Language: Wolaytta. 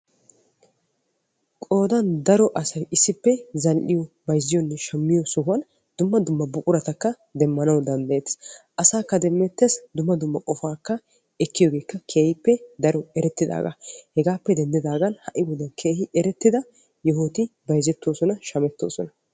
Qoodan daro asay issippe zal"iyoo, bayzziyoonne shammiyoo sohuwan dumma buquratakka demmanaw danddayettes. Asaakka demmeettes. Dumma dumma qofaakka ekkiyoogeekka keehippe daro erettidaagaa. Hegaappe denddidaagan ha"i wodiyan keehi erettida yohoti bayzettoosona shamettoosona.